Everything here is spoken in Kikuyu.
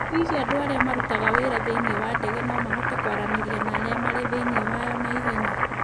· Hihi andũ arĩa marutaga wĩra thĩinĩ wa ndege no mahote kwaranĩria na arĩa marĩ thĩinĩ wayo na ihenya?